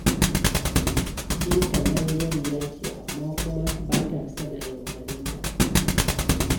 Binta mayaudariya ce, amma kuma ba ta son a yaudare ta.